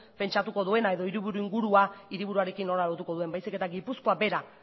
pentsatuko duena edo hiriburu ingurua hiriburuarekin nola lotuko duen baizik eta gipuzkoa bera